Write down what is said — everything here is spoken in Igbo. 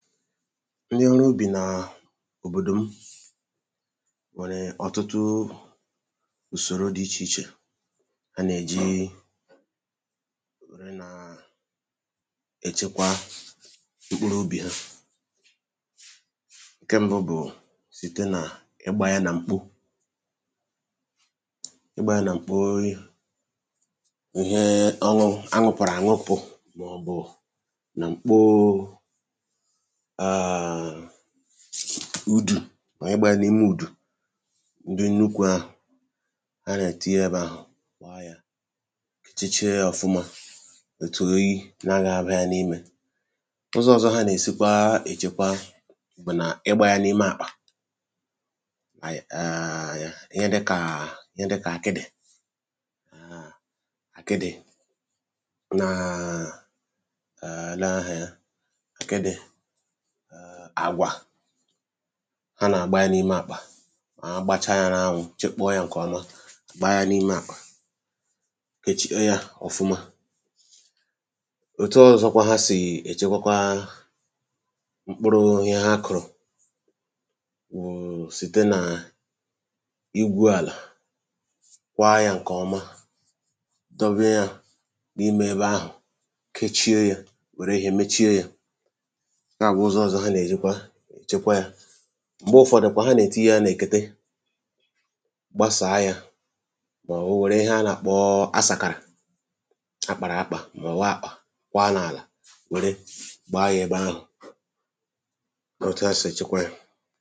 ndị ọrụ ubì na à òbòdò m nwèrè ọtụtụ ùsòro dị ichè ichè ha nà-èji ree nà ẹchẹkwa nkpu n’ubì ha ǹkẹ m bụ̀ site nà igbȧ ya nà mkpu igbȧ ya nà mkpu ori̇ ihe ọlụ anwụ̀pụ̀rụ̀ ànwopù màọ̀bụ̀ nà mkpo udù ànyị gbàrà n’ime ùdù ndị nnukwu̇ ahụ̀ a nà-ètii yȧ bụ̀ àhụ kwa yȧ kịchịchie ọ̀fụma ètùoyi na-agȧ abụ̇ ya n’imė ụzọ̇ ọzọ hȧ nà-èsikwa èchekwa bụ̀ nà ịgbȧya n’ime àkpà mà yaa ihe dịkà ihe dịkà àkịdị̀ àkịdị̀ naa àla ahụ̀ ya àkịdị̀ ha nà-àgba ya n’ime àkpà ha gbacha ya n’anwụ̇ chekpọọ ya ǹkè ọma gbaa ya n’ime àkpà kèchie ya ọ̀fụma òtu ọzọkwa ha sì èchekwakwa mkpụrụ ihe ha kụ̀rụ̀ wụ̀ sìte nà igwu̇ àlà kwaa ya ǹkè ọma dobe ya n’imė ebe ahụ̀ kechie ya wèrè ehiè mechie ya m̀gbe ụfọ̀dụ̀ kwà ha nà-èti ihe ha nà-èkète gbasàa yȧ màọ̀wụ̀ wère ihe a nà-àkpọ a sàkàrà akpàrà akpà màọ̀wa àkpọ̀ kwa n’àlà wère gbaa yȧ ebe ahụ̀ out of state chekwa yȧ